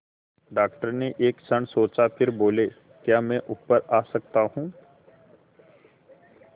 doctor ने एक क्षण सोचा फिर बोले क्या मैं ऊपर आ सकता हूँ